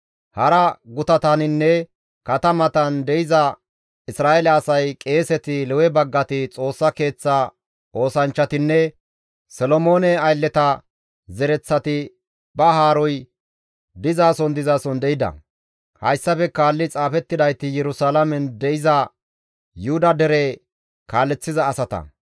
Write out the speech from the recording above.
Hara gutataninne katamatan de7iza Isra7eele asay, qeeseti, Lewe baggati, Xoossa Keeththa oosanchchatinne Solomoone aylleta zereththati ba haaroy dizason dizason de7ida; hayssafe kaalli xaafettidayti Yerusalaamen de7iza Yuhuda dere kaaleththiza asata.